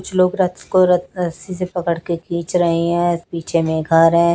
कुछ लोग रथ को रथ रस्सी से पकड़ के खीच रहे है पीछे में घर रहे हैं।